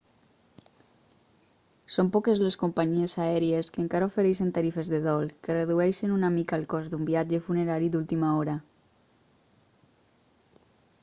són poques les companyies aèries que encara ofereixen tarifes de dol que redueixen una mica el cost d'un viatge funerari d'última hora